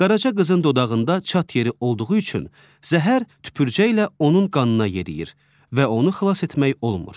Qaraca qızın dodağında çat yeri olduğu üçün zəhər tüpürcək ilə onun qanına yeriyir və onu xilas etmək olmur.